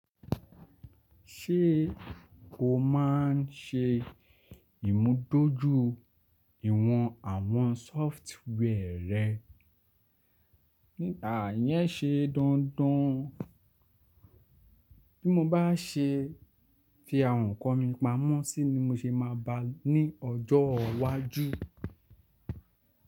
Ṣé o máa ń ṣe ìmúdójúìwọ̀n àwọn sófútúwẹ̀ rẹ? Àyẹn ṣe dandan. Bí mo bá ṣe fi àwọn ǹkan mi pamọ́ sí ní mo ṣe máa bá a ní ọjọ́ iwájú.